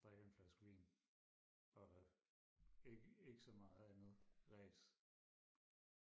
drikker en flaske vin og ikke ikke så meget andet ræs